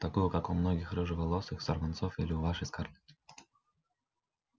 такую как у моих рыжеволосых сорванцов или у вашей скарлетт